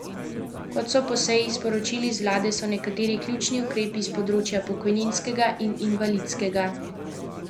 Kot so po seji sporočili z vlade, so nekateri ključni ukrepi s področja pokojninskega in invalidskega zavarovanja celovito obravnavani v Beli knjigi o pokojninah.